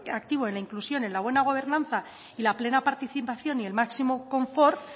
activo en la inclusión en la buena gobernanza y la plena participación y el máximo confort